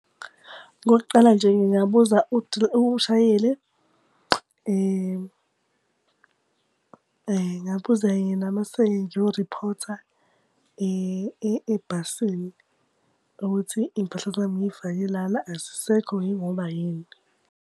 Okokuqala nje ngingabuza umshayeli. Ngingabuza yena mase-ke ngiyoriphotha ebhasini ukuthi iy'mpahla zami ngiy'fake lana, azisekho yingoba yini.